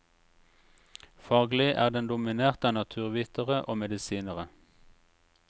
Faglig er den dominert av naturvitere og medisinere.